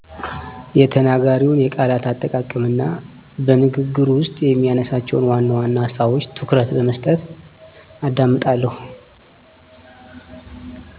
የተናጋሪውን የቃላት አጠቃቀም እና በንግግሩ ውስጥ የሚያነሳቸውን ዋናዋና ሀሳቦች ትኩረት በመስጠት አዳምጣለሁ።